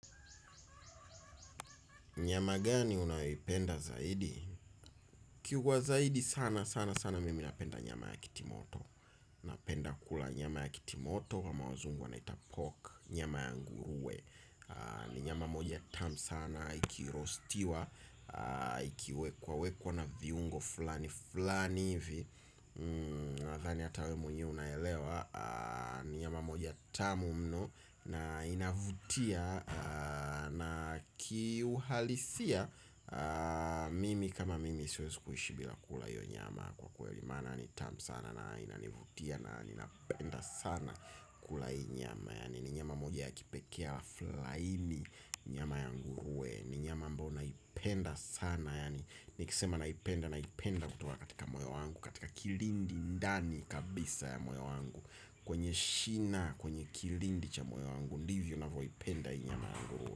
Nyama gani unayoipenda zaidi? Kiu kwa zaidi sana sana sana mimi napenda nyama ya kitimoto. Napenda kula nyama ya kitimoto ama wazungu wanaita pork. Nyama ya ngurue ni nyama moja tam sana. Ikiroastiwa ikiwekwa wekwa na viungo fulani fulani hivi nathani ata we mwenyewe unaelewa ni nyama moja tamu mno na inavutia na kiuhalisia mimi kama mimi siwezi kuishi bila kula iyo nyama kwa kweli maana ni tam sana na inanivutia na ninapenda sana kula ii nyama. Yani ni nyama moja ya kipekee alafu laini nyama ya ngurue. Ni nyama ambao naipenda sana. Yani nikisema naipenda naipenda kutoka katika moyo wangu katika kilindi ndani kabisa ya moyo wangu. Kwenye shina kwenye kilindi cha moyo wangu. Ndivyo navoipenda ii nyama ya ngurue.